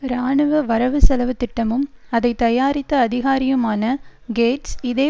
இராணுவ வரவு செலவுத்திட்டமும் அதை தயாரித்த அதிகாரியுமான கேட்ஸ் இதே